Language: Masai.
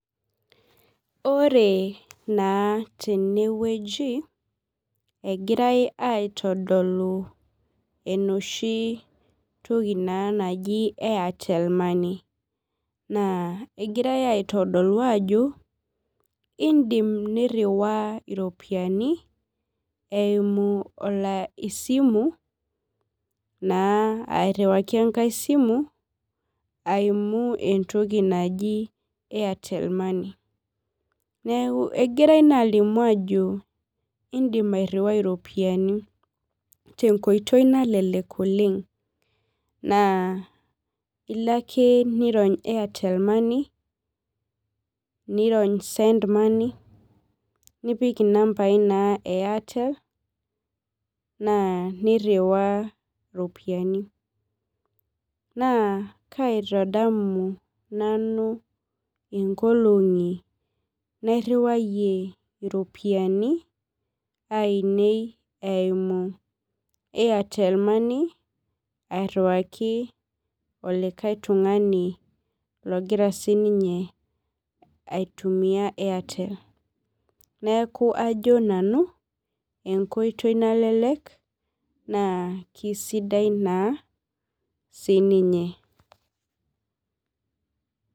Ore na tenewueji egirai aitodolu enoshi toki naji airtel egirai aitodolu ajo indim niriwaa ropiyani eimu esimuairiwaki enkae simu eimu entoki naji airtel money egirai alimu ajo indim airiwai iropiyiani tenkoitoi nalelek oleng na ilo ake nirony[cs[ airtel money nirony send money nipik na nambai e airtel na niriwaa ropiyani na kaitadamu nanu inkolongi nairiwayie iropiyiani ainei eimu Airtel money olikae tunganu ogira sinye aitumia neaku ajo nanu enkoitoi nalelek na kesidai sininye.